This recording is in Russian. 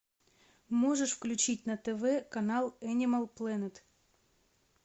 можешь включить на тв канал энимал плэнет